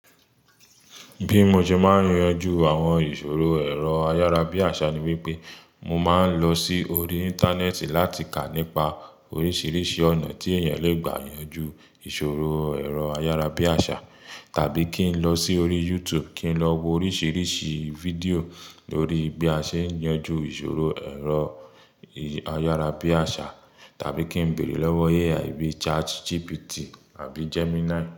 Bí mo ṣe máa ń yanjú àwọn ìṣòro ẹ̀rọ ayárabíàṣá ni wípé mo máa ń lọ sí orí Íńtánẹ́ẹ̀tì láti kà nípa oríṣiríṣi ọ̀nà tí èèyàn le gbà yanjú ìṣòro ẹ̀rọ ayárabíàṣá tàbí kí n lọ sí orí YouTube kí n lọ wo oríṣiríṣi fídíò lórí bí a ṣe ń yanjú ìṣòro ẹ̀rọ ayárabíàṣá tàbí kí n bèrè lọ́wọ́ AI bíi ChatGPT àbí Gemini.